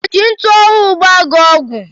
O ji ntụ ọhụụ gbaa gị ọgwụ?